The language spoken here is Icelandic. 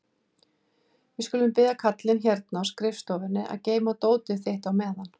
Við skulum biðja kallinn hérna á skrifstofunni að geyma dótið þitt á meðan.